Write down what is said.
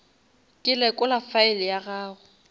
ke lekola file ya gago